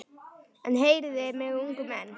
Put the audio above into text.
En heyrið mig ungu menn.